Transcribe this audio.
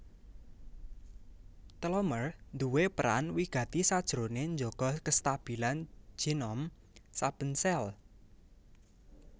Telomer duwé peran wigati sajroné njaga kastabilan genom saben sel